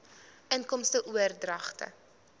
inkomste oordragte